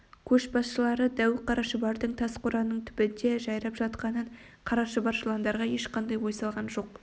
көшбасшылары дәу қара шұбардың тас қораның түбінде жайрап жатқанын қара шұбар жыландарға ешқандай ой салған жоқ